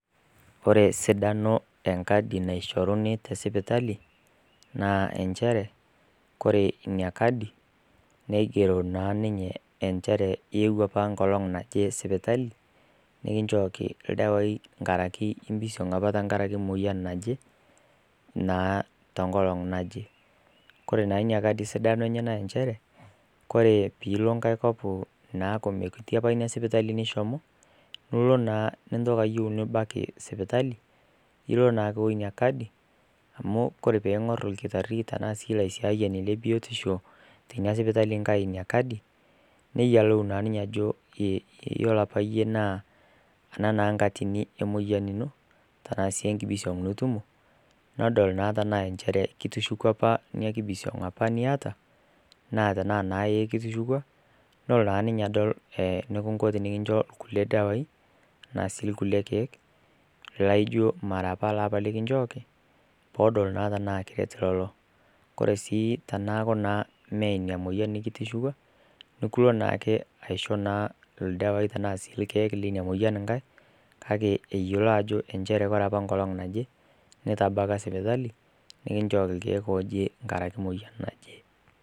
Ore esidano enkadi naishoruni te sipitali naa inchere, kore ina kadi neigero naa ninye enchere iewuo opa enkolong' naje sipitali nekinchooki naa ilchanito enkaraki imbiaiongopa enkarake emoyian naje, naa tenkolong' naje. Kore naa Ina kadi esidano enye naa nchere Kore pee ilo nkai kop naaku metii opa ina sipitali nishomo, nilo naa niintoki ayou sipitali, ilo naake wo Ina kadi amu ore pee eingor olkitari tanaa sii laisiayani le biotisho teina sipitali nkai Ina kadi, neyioulou naa ninye ajo ore opa iyie naa anaa naa enkatini emoyian ino, tanaa naa enkibosiong ino itutumo, nedol naa tanaa nchere kitushukuo opa niaki embisiong opa niata naa tanaa naake kitushukuo, nelo naa ninye adol tanaa kitishuku tanaa kincho ilkulie dawai anaa sii ilkulie keek laijo mara apa laapa likinchooki, peedol naa tanaa kiret lelo. Kore sii teneaku naa meina moyian nekitishukuo nekilo naake aisho ildawai tanaa sii ilkeek leina moyian nkai kake eyiolo ajo enchere Kore opa enkolong' naje, nitabaika sipitali nikinchooki ilkeek oje enkaraki emoyian naje.